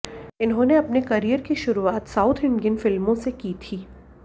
इन्होंने अपने करियर की शुरुआत साउथ इंडियन फिल्मों से की थी